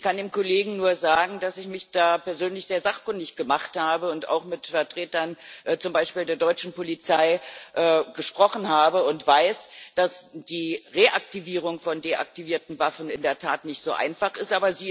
Ich kann dem Kollegen nur sagen, dass ich mich da persönlich sehr sachkundig gemacht und auch mit Vertretern zum Beispiel der deutschen Polizei gesprochen habe und weiß, dass die Reaktivierung von deaktivierten Waffen in der Tat nicht so einfach ist.